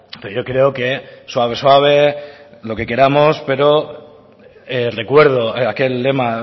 pero yo creo que suave suave lo que queramos pero recuerdo aquel lema